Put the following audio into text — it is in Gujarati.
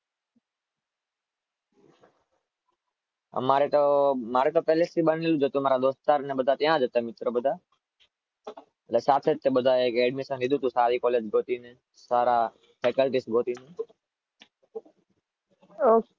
મારે તો ત્યાં જ હતા મિત્રો બધા.